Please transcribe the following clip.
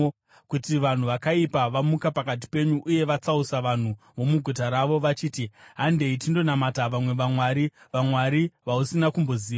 kuti vanhu vakaipa vamuka pakati penyu uye vatsausa vanhu vomuguta ravo, vachiti, “Handei tindonamata vamwe vamwari,” (vamwari vausina kumboziva),